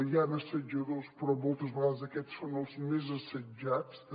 hi han assetjadors però moltes vegades aquests són els més assetjats també